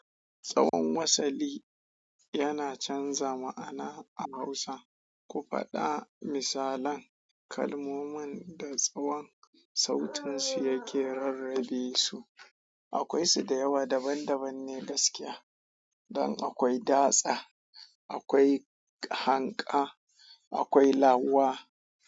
Tsawon wasali yana canza ma'ana a Hausa. Ku faɗa misalan kalmomin da tsawon sautansu yake rarrabe su. Akwai su da yawa daban daban ne gaskiya. Don akwai da tsa, akwai hanƙa, akwai lawa.